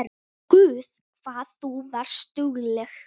Guð hvað þú varst dugleg.